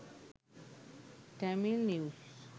tamil news